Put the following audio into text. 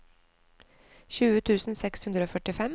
tjue tusen seks hundre og førtifem